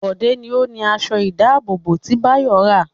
Bọ̀dé ni ó ni aṣọ-ìdáàbòbò tí Báyọ̀ ń rán.